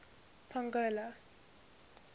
pongola